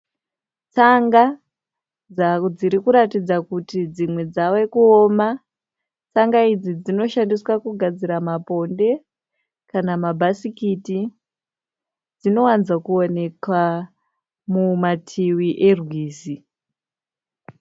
Tsanga dziri kuratidza kuti dzimwe dzave kuoma. Tsanga idzi dzinoshandiswa kugadzira maponde kana mabhasikiti. Dzinowanzo kuoneka mumativi erwizi.